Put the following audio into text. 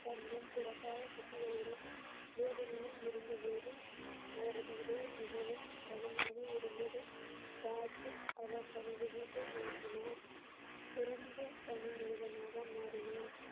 தன் முன் பிறக்காத குட்டிகளுடன் வேதனையில் இருந்தபோது அவரது இதயம் மிகவும் கனமாக இருந்ததை பார்த்து அவர் தனது வீட்டை மாற்றினார் பிறந்த தனி மனிதனாக மாறினார்